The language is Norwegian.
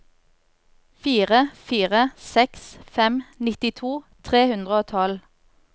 fire fire seks fem nittito tre hundre og tolv